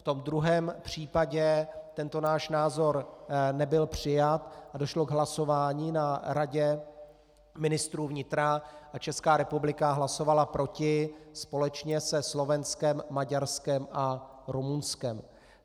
V tom druhém případě tento náš názor nebyl přijat a došlo k hlasování na Radě ministrů vnitra a Česká republika hlasovala proti, společně se Slovenskem, Maďarskem a Rumunskem.